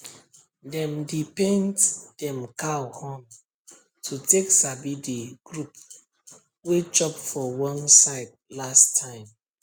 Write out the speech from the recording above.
dem dey paint dem cow horn to take sabi the group wey chop for one side last time